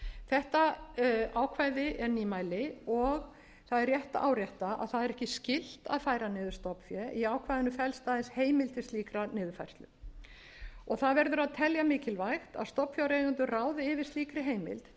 þetta ákvæði er nýmæli og það er rétt að árétta að það er ekki skylt að færa niður stofnfé í ákvæðinu felst aðeins heimild til slíkrar niðurfærslu það verður að telja mikilvægt að stofnfjáreigendur ráði yfir slíkri heimild til þess að